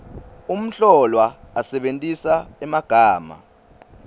umhlolwa asebentisa emagama